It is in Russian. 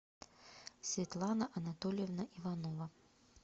светлана анатольевна иванова